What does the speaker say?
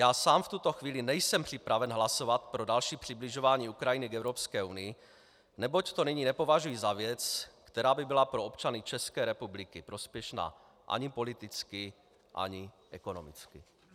Já sám v tuto chvíli nejsem připraven hlasovat pro další přibližování Ukrajiny k Evropské unii, neboť to nyní nepovažuji za věc, která by byla pro občany České republiky prospěšná ani politicky, ani ekonomicky.